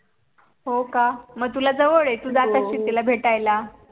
हो का मग तुला जवळ आहे तू जात अशील तिला भेटायला